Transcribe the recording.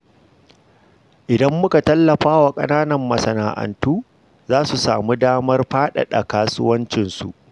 Idan muka tallafa wa ƙananan masana’antu, za su samu damar faɗaɗa kasuwancinsu.